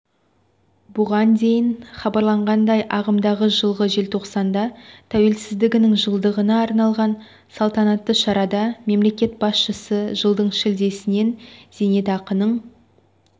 бұған дейін хабарланғандай ағымдағы жылғы желтоқсанда тәуелсіздігінің жылдығына арналған салтанатты шарада мемлекет басшысы жылдың шілдесінен зейнетақының